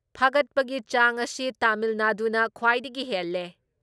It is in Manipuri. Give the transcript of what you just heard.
ꯐꯥꯒꯠꯄꯒꯤ ꯆꯥꯡ ꯑꯁꯤ ꯇꯥꯃꯤꯜ ꯅꯥꯗꯨꯅ ꯈ꯭ꯋꯥꯏꯗꯒꯤ ꯍꯦꯜꯂꯦ ꯫